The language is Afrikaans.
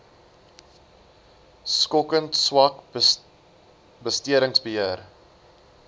skokkend swak bestedingsbeheer